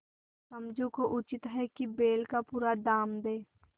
समझू को उचित है कि बैल का पूरा दाम दें